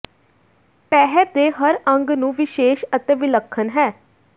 ਪਹਿਰ ਦੇ ਹਰ ਅੰਗ ਨੂੰ ਵਿਸ਼ੇਸ਼ ਅਤੇ ਵਿਲੱਖਣ ਹੈ